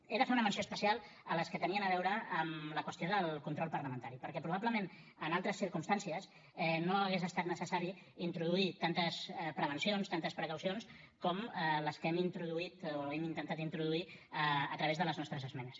he de fer una menció especial a les que tenien a veure amb la qüestió del control parlamentari perquè probablement en altres circumstàncies no hauria estat necessari introduir tantes prevencions tantes precaucions com les que hem introduït o hem intentat introduir a través de les nostres esmenes